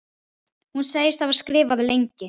Hún segist hafa skrifað lengi.